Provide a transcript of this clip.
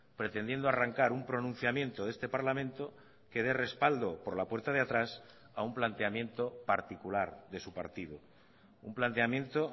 pretendiendo arrancar un pronunciamiento de este parlamento que dé respaldo por la puerta de atrás a un planteamiento particular de su partido un planteamiento